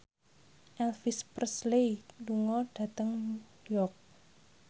Elvis Presley lunga dhateng York